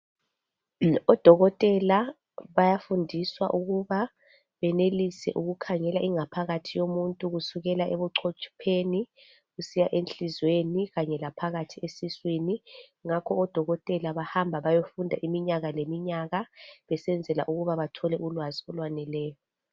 Odokotela bayafundiswa ukuba benelise ukukhangela ingaphakathi yomuntu .Kusukela ebuchotsheni kusiya enhliziyweni . Kanye laphakathi esiswini .Ngakho odokotela bayahamba bayofunda iminyaka leminyaka besenzela ukuba bathole ulwazi olwaneleyo .